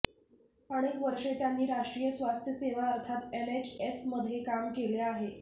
अनेक वर्षे त्यांनी राष्ट्रीय स्वास्थ्य सेवा अर्थात एनएचएसमध्ये काम केले आहे